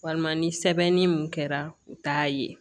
Walima ni sɛbɛnni mun kɛra u t'a ye